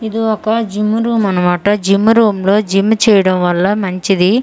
ఇది ఒక gym room అన్నమాట జిమ్ రూమ్ లో జిమ్ చేయడం వల్ల మంచిది ఇది.